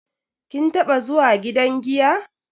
Kin taba zuwa gidan giya?